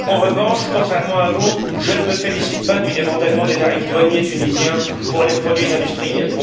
En revanche, contrairement à vous, je ne me félicite pas du démantèlement des tarifs douaniers tunisiens pour les produits industriels.